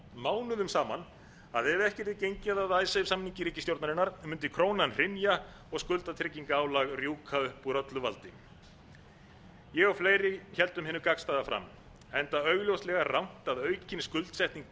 mánuðum saman að ef ekki yrði gengið að icesave samningi ríkisstjórnarinnar mundi krónan hrynja og skuldatryggingarálag rjúka upp úr öllu valdi ég og fleiri héldum hinu gagnstæða fram enda augljóslega rangt að aukin skuldsetning